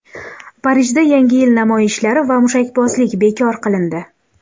Parijda Yangi yil namoyishlari va mushakbozlik bekor qilindi.